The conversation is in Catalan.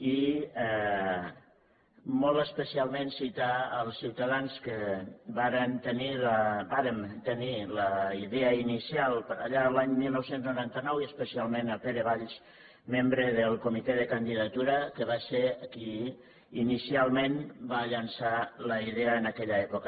i molt especialment citar els ciutadans que vàrem tenir la idea inicial per allà l’any dinou noranta nou i especialment pere valls membre del comitè de candidatura que va ser qui inicialment va llançar la idea en aquella època